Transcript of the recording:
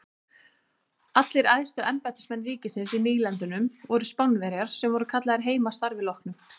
Allir æðstu embættismenn ríkisins í nýlendunum voru Spánverjar sem voru kallaðir heim að starfi loknu.